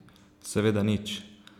Seveda nič.